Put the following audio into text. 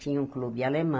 Tinha um clube